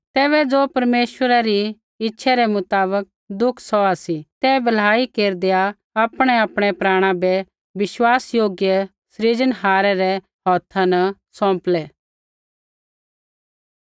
तैबै ज़ो परमेश्वरै री इच्छै रै मुताबक दुख सौहा सी ते भलाई केरदैआ आपणैआपणै प्राणा बै विश्वासयोग्य सृजनहारै रै हौथा न सौंपलै